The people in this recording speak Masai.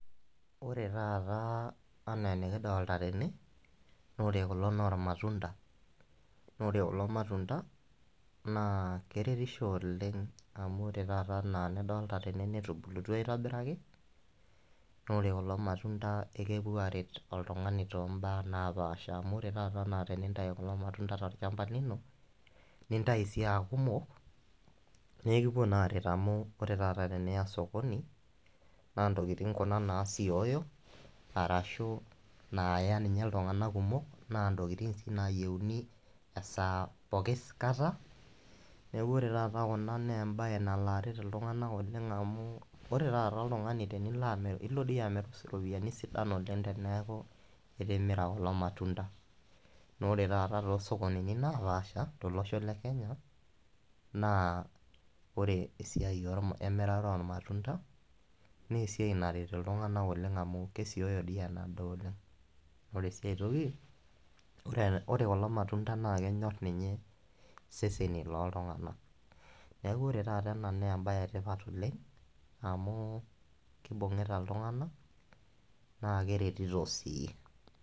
ore taata enaa enikidoolta tene, naa ore kulo naa irmatunda, ore, kulo matunda, naa keretisho oleng amu ore taata, anaa enidolta tene netubulutua aitobiraki, naa ore kulo matunda kepuo aaret oltungani too mbaa naapaasha. amu ore taata tenintayu kulo matunda tolchampa lino, nintayu sii aakumok, naa ekipuo sii aaret amu, ore taata teniya sokoni naa ntokitin kuna naasioyo arashu naaya ninye iltunganak kumok, naa ntokitin sii nayieuni, esaa pookin kata. neeku ore taata kuna naa embae nalo aret iltunganak oleng amu, ore taata oltungani, ilo dii amir iropiyiani sidan, oleng teneeku itimira kulo matunda. naa ore taata toosokonini naapasha, tolossho le kenya, naa ore esiai emirata oolmatunda, naa esiai naret iltnganak oleng amu kesioyo enadoolta. ore sii ae toki, ore kulo matunda naa kenyor ninye seseni looltunganak. neeku ore taata ena naa embae etipat oleng. amu kibungita iltunganak naa keretito sii.